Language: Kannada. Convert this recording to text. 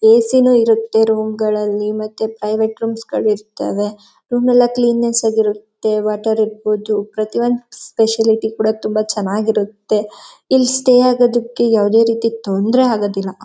ಎಸಿ ನು ಇರತ್ತೆ ರೂಮ್ಗಳಲ್ಲಿ ಮತ್ತೆ ಪ್ರೈವೇಟ್ ರೂಮ್ಸ್ ಗಳು ಇರ್ತಾವೆ. ರೂಮೆಲ್ಲಾ ಕ್ವೀನೆಸ್ಸ್ ಆಗಿ ಇರತ್ತೆ ವಾಟರ್ ಇರಬಹುದು. ಪ್ರತಿಯೊಂದು ಫೆಸಿಲಿಟಿ ಕೂಡ ತುಂಬಾ ಚೆನ್ನಾಗಿ ಇರತ್ತೆ. ಇಲ್ಲಿ ಸ್ಟೇ ಆಗೋದಕ್ಕೆ ಯಾವುದೇ ರೀತಿ ತೊಂದರೆ ಆಗೋದಿಲ್ಲ.